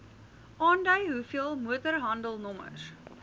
aandui hoeveel motorhandelnommers